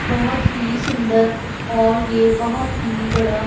बहोत ही सुंदर और ये बहोत ही बड़ा--